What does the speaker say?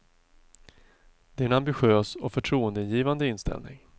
Det är en ambitiös och förtroendeingivande inställning.